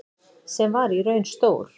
Sem var í raun stór